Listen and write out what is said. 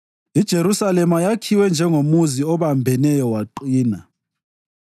IJerusalema yakhiwe njengomuzi obambeneyo waqina.